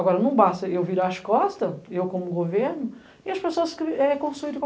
Agora, não basta eu virar as costas, eu como governo, e as pessoas construírem...